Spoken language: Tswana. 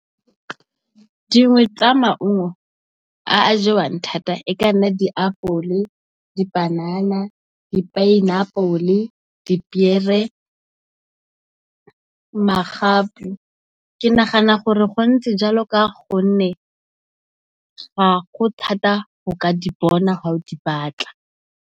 Dingwe tsa maungo a a jewang thata e ka nna di apole, di panana, di pineapple, di piere, magapu ke nagana gore go ntse jalo ka gonne ga go thata go ka di bona ha o di batla.